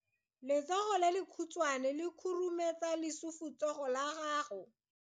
Letsogo le lekhutshwane le khurumetsa lesufutsogo la gago.